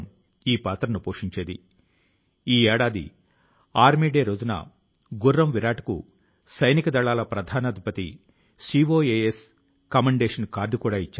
గత 4 దశాబ్దాల లో ఆయన భారతదేశం లోని 40 పురాతన గ్రంథాలు ఇతిహాసాలు రచనల ను మంగోలియన్ భాష లోకి అనువదించారు